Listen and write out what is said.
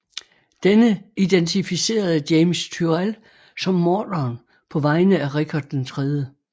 Denne identificerede James Tyrrell som morderen på vegne af Richard 3